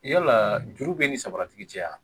Yala juru bɛ ni sagara tigi cɛ a